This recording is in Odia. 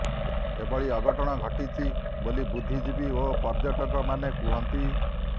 ଏଭଳି ଅଘଟଣ ଘଟିଛି ବୋଲି ବୁଦ୍ଧିଜୀବୀ ଓ ପର୍ୟ୍ୟଟକ ମାନେ କୁହନ୍ତି